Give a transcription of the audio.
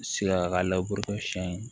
Sikala siyɛn ye